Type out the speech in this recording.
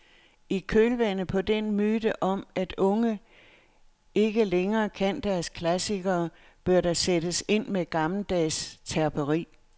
I kølvandet på den myte om at unge ikke længere kan deres klassikere, bør der sættes ind med gammeldags terperi.